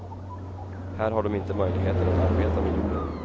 Här har de inte möjligheter att arbeta med jorden.